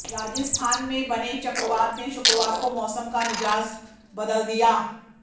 राजस्थान में बने चक्रवात ने शुक्रवार को मौसम का मिजाज बदल दिया